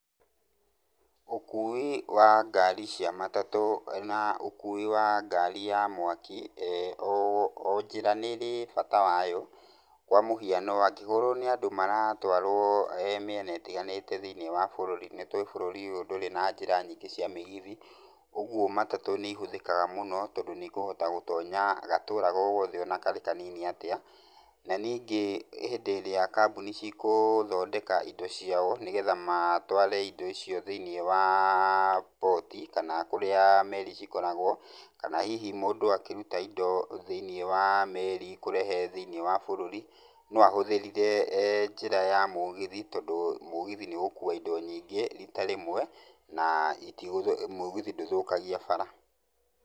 Ũkui wa ngari cia matatũ, na ũkui wa ngari ya mwaki, o njĩra nĩrĩ bata wa yo, kwa mũhiano, angĩkorwo nĩ andũ maratwarwo, mĩena ĩtiganĩte thĩini wa bũrũri, nĩ tũĩ bũrũri ũyũ ndũrĩ njĩra nyingĩ cia mĩgithi, ũguo matatu nĩ ihũthĩkaga mũno, tondũ nĩ ikũhota gũtonya, gatũra o gothe ona karĩ kanini atĩa. Na ningĩ hĩndĩ ĩrĩa kambũni cigũthondeka indo ciao ,nĩgetha matware indo icio thĩi-inĩ wa port, kana kũrĩa meri cikoragwo, kana hihi mũndũ akĩruta indo thĩi-ini wa meri, kũrehe thĩi-inĩ wa bũrũri. No ahũthĩrĩre njĩra ya mũgithi, tondũ mũgithi nĩ ũgũkua indo nyingĩ rita rĩmwe, na mũgithi ndũthũkagia bara .